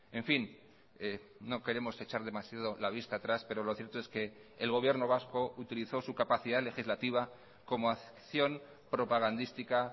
en fin no queremos echar demasiado la vista atrás pero lo cierto es que el gobierno vasco utilizó su capacidad legislativa como acción propagandística